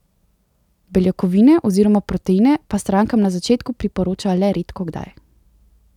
Beljakovine oziroma proteine pa strankam na začetku priporoča le redkokdaj.